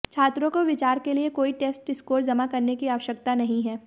छात्रों को विचार के लिए कोई टेस्ट स्कोर जमा करने की आवश्यकता नहीं है